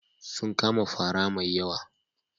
Sun kama fara mai yawa.